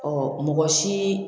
mɔgɔ si